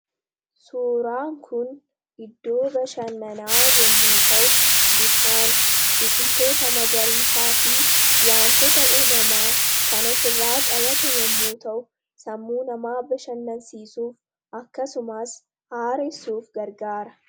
Suuraan kun iddoo bashannanaa yommuu ta'u ,bishaan, biqiltoota magariisaa fi wantoota uumamaa kan of irraa qabate yommuu ta'u sammuu namaa bashannansiisuuf akkasumas haaressuuf gargaara.